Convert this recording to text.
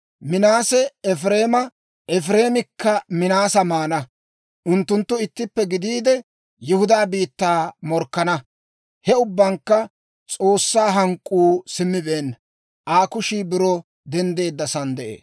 Minaase Efireema, Efireemikka Minaasa maana; unttunttu ittippe gidiide, Yihudaa biittaa morkkana. He ubbankka S'oossaa hank'k'uu simmibeenna; Aa kushiikka biro denddeeddasaan de'ee.